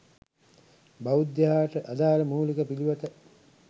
බෞද්ධයාට අදාළ මූලික පිළිවෙත